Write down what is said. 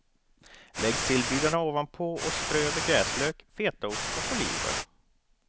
Lägg sillbitarna ovanpå och strö över gräslök, fetaost och oliver.